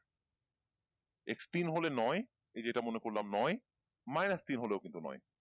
X তিন হলে নয় এইযে এটা মনে করলাম নয় মাইনাস তিন হলেও কিন্তু নয়